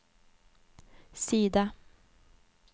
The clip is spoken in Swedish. sida